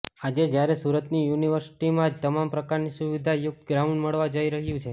આજે જ્યારે સુરતની યુનિવર્સિટીમાં જ તમામ પ્રકારની સુવિધા યુક્ત ગ્રાઉન્ડ મળવા જઇ રહ્યું છે